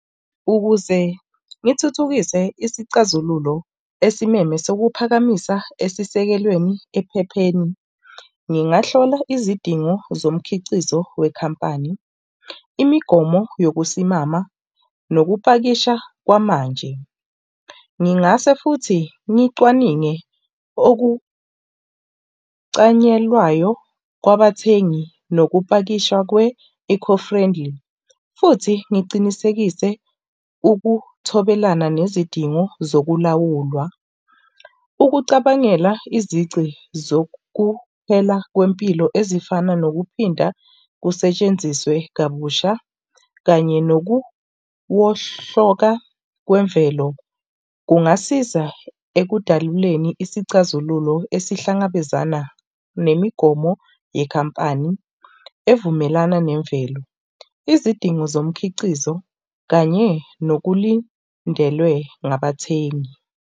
Ukuze ngithuthukise isicazululo esimeme sekuphakamisa esisekelweni ekuphepheni, ngingahlola izidingo zomkhiqizo wekhampani, imigomo yokusimamisa nokupakisha kwamanje. Ngingase futhi ngicwaninge okucanyelwayo kwabathengi nokupakishwa kwe eco-friendly. Futhi ngicinisekise ukuthobelana nezidingo zokulawulwa, ukucabangela izici zokuphela kwempilo ezifana nokuphinda kusetshenziswe kabusha kanye nokuwohloka kwemvelo kungasiza ekudaluleni isixazululo esihlangabezana nemigomo yekhampani evumelana nemvelo, izidingo zomkhiqizo kanye nokulindelwe ngabathengi.